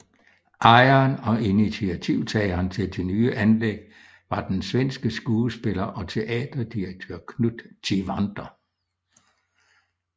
Ejeren og initiativtageren til det nye anlæg var den svenske skuespiller og teaterdirektør Knut Tivander